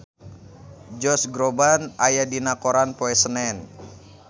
Josh Groban aya dina koran poe Senen